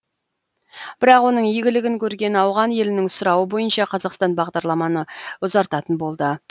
бірақ оның игілігін көрген ауған елінің сұрауы бойынша қазақстан бағдарламаны ұзартатын болды